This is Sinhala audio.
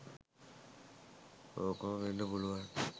ඕකම වෙන්න පුළුවන්.